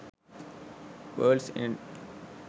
worlds end